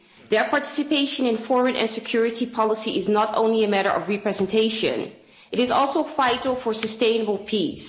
Their participation in foreign and security policy is not only a matter of representation, it is also vital for sustainable peace.